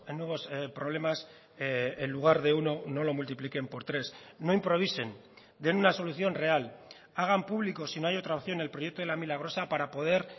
nuevos problemas en lugar de uno no lo multipliquen por tres no improvisen den una solución real hagan público si no hay otra opción el proyecto de la milagrosa para poder